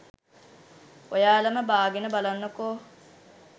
ඔයාලම බාගෙන බලන්නකෝ